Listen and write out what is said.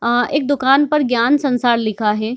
अं एक दुकान पर ज्ञान संसार लिखा है।